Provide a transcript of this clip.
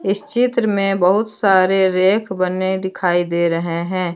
इस चित्र में बहुत सारे रैक बने दिखाई दे रहे हैं।